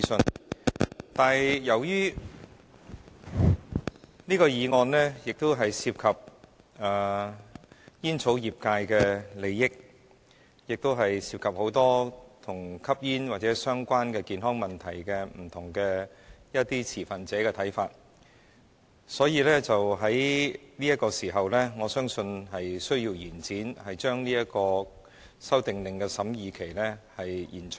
然而，由於這項議案涉及煙草業界的利益，亦涉及眾多與吸煙或相關健康問題不同持份者的看法，因此我相信有需要把這項《修訂令》的審議期延長。